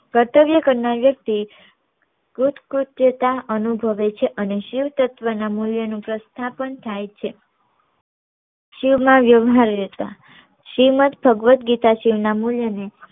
કર્તવ્ય કરનાર વ્યક્તિ અનુભવે છે અને શિવ તત્વ ના મુલ્ય નું પ્રસ્થાપન થાય છે શિવ માં વ્યવ્હારીતા શ્રીમંત ભાગવત ગીતા શિવ ના મુલ્ય ની